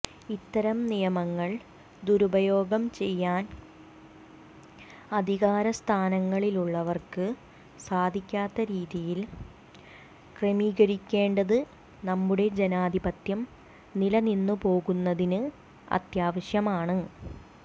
ഇത്തരം നിയമങ്ങൾ ദുരുപയോഗം ചെയ്യാൻ അധികാരസ്ഥാനങ്ങളിലുള്ളവർക്ക് സാധിക്കാത്ത രീതിയിൽ ക്രമീകരിക്കേണ്ടത് നമ്മുടെ ജനാധിപത്യം നിലനിന്നുപോകുന്നതിന് അത്യാവശ്യമാണ്